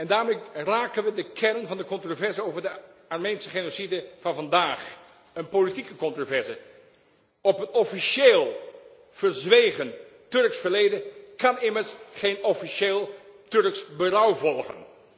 Daarmee raken we de kern van de controverse over de Armeense genocide van vandaag, een politieke controverse. Op een officieel verzwegen Turks verleden kan immers geen officieel Turks berouw volgen.